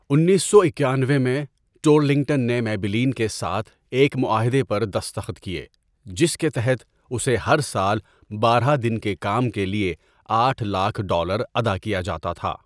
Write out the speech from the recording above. انیس سو اکانوے میں، ٹورلنگٹن نے میبیلین کے ساتھ ایک معاہدہ پر دستخط کیے جس کے تحت اسے ہر سال بارہ دن کے کام کے لیے آٹھ لاک ڈالر ادا کیا جاتا تھا۔